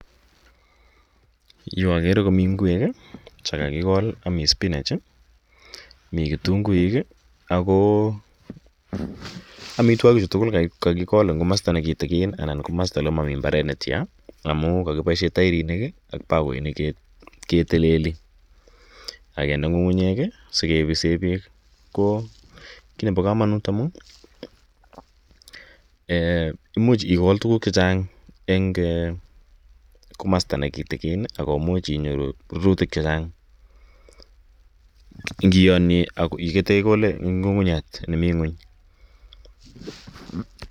Yu akere komi ngwek che kakikol. Mi spimach i, mi kutuguik i, ako amitwogichu tugul ko kakikol eng' komasta ne kitikin ana komasta ole mami mbaret netya amu kakipoishe pakoinik keteleli ak kende ng'ung'unyek asikepise peek. Ko ki nepo kamanut amun imuch ikol tuguuk che chang' eng' komasta ne kitikin ako much inyoru rurutik che chang' ngiyanye ak yutok ye ikole ng'ung'unyat ne mi ng'uny.